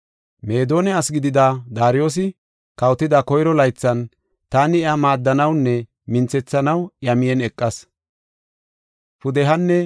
“Meedona asi gidida Daariyosi, kawotida koyro laythan, taani iya maaddanawnne minthethanaw iya miyen eqas.”